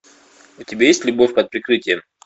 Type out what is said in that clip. у тебя есть любовь под прикрытием